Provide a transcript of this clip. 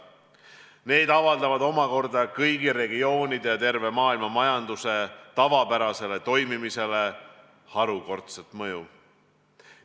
Need omakorda avaldavad kõigi regioonide ja terve maailma majanduse tavapärasele toimimisele harukordset mõju.